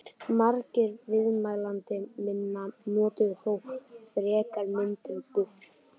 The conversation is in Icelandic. Margir viðmælenda minna notuðu þó frekar myndina buff.